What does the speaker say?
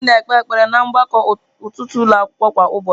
Anyị na-ekpe ekpere ná mgbakọ ụtụtụ ụlọ akwụkwọ kwa ụbọchị.